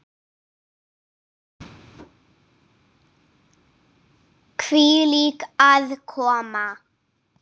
Hvílík aðkoma!